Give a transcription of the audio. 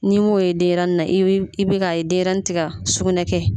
N'i m'o ye denɲɛrɛnin na i bi i bi k'a ye denɲɛrɛnin ti ka sukunɛ kɛ.